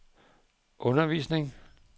undervisning